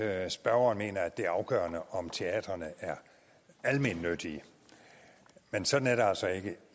at spørgeren mener at det er afgørende om teatrene er almennyttige men sådan er det altså ikke